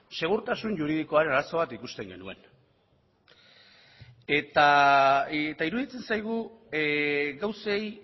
segurtasun juridikoaren arazo bat ikusten genuen eta iruditzen zaigu gauzei